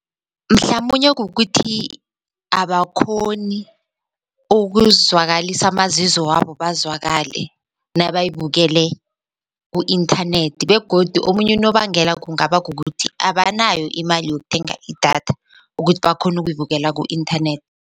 Mhlamunye kukuthi abakghoni ukuzwakalisa amazizo wabo bazwakale nabayibukele ku-inthanethi begodu omunye unobangela kungaba kukuthi abanayo imali yokuthenga idatha ukuthi bakghone ukuyibukela ku-inthathethi.